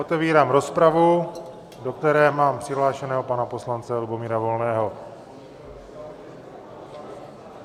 Otevírám rozpravu, do které mám přihlášeného pana poslance Lubomíra Volného.